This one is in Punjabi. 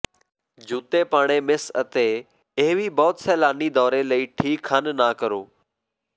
ਜੁੱਤੇ ਪਾਣੀ ਮਿਸ ਅਤੇ ਇਹ ਵੀ ਬਹੁਤ ਸੈਲਾਨੀ ਦੌਰੇ ਲਈ ਠੀਕ ਹਨ ਨਾ ਕਰੋ